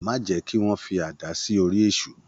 Má jẹ́ kí wọ́n fi àdí sí orí Èṣù.